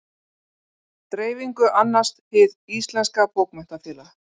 dreifingu annast hið íslenska bókmenntafélag